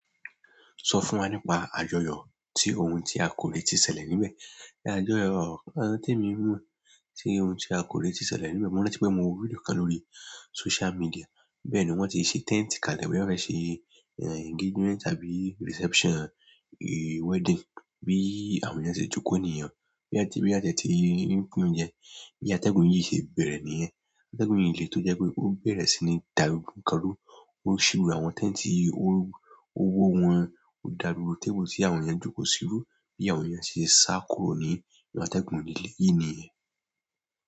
Sọ fún wa nípa àjọyọ̀ tí ohun tí a kò rètí ṣẹlẹ̀ níbẹ̀. Ni àjọyọ̀ tí emi mọ̀ tí ohun tí a kò retí ṣẹlẹ̀ níbẹ̀, mo rántí pé mo rí fídíò kan lórí social media. Bẹ́ẹ̀ ni wón ti ṣe tent kalẹ̀ boya won fe ṣe engagement tàbí reception wedding bí àwọn ènìyàn ṣe jókòó nìyẹn. Bí a, boya won ti e ti ń pín oúnjẹ. Bi atẹ́gùn yìí ṣe bẹ̀rẹ̀ nìyẹn. Atẹ́gùn yi lé tó jẹ́ pé ó bẹ̀rẹ̀ sí ní dàgbogbó nǹkan ru. Ó ṣíwé àwọn tent yi, o wó wọn ò dàrú, gbogbo table tí àwọn ènìyàn jókòó sí rú bí àwọn ènìyàn ṣe sá kúrò ní inú atẹ́gùn lìlé yìí nìyẹn.